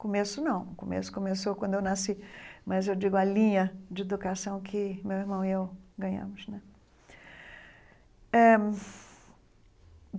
Começo não, começo começou quando eu nasci, mas eu digo a linha de educação que meu irmão e eu ganhamos né eh.